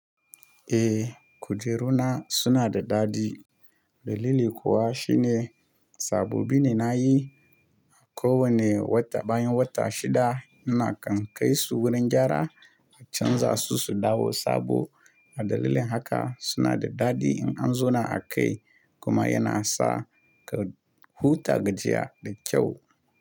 Eh kujeru na suna da daɗi. Dalili kuwa shine sabobi ne na yi. A ko wane wata bayan wata shida ina kan kai su wurin gyara a canza su su dawo sabo a dalilin haka suna da daɗi in an zauna a kai kuma yana sa ka huta gajiya da kyau.